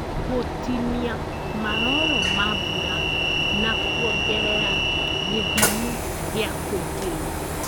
gũtinia maroro ma mbura na kwongerera gĩthimi gĩa kũingĩria